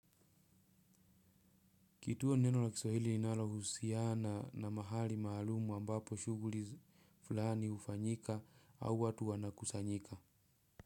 Kituo ni neno la kiswahili inalohusiana na mahali maalumu ambapo shughuli fulani hufanyika au watu wana kusanyika.